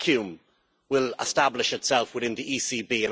A vacuum will establish itself within the ECB.